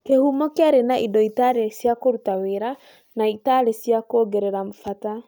Kĩhumo kĩarĩ na indo itarĩ cia kũruta wĩra na itarĩ cia kuongerera bata